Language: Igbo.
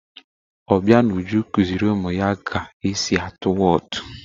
Obianuju kụziiri ụmụ ya ga esi atụ Whọt.